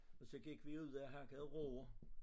Og så gik vi ud og hakkede roer